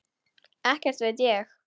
Ekkert veit ég.